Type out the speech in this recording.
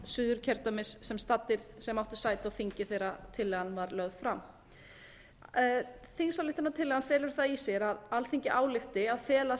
suðurkjördæmis sem áttu sæti á þingi þegar tillagan var lögð fram þingsályktunartillagan felur það í sér að alþingi álykti að fela